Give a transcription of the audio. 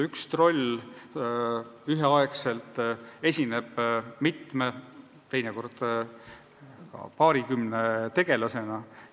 Üks troll esineb üheaegselt mitme, teinekord ka paarikümne tegelasena.